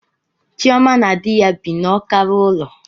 Chioma na di ya bi n'ọkara ulo